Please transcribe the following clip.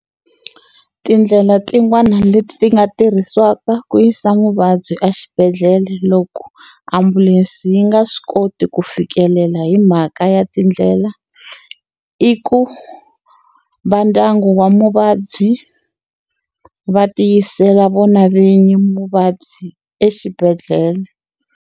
Tindlela tin'wani leti nga tirhisiwaka ku yisa muvabyi exibedhlele loko ambulense yi nga swi koti ku fikelela hi mhaka ya tindlela, i ku vandyangu wa muvabyi va ti yisela vona vinyi muvabyi exibedhlele.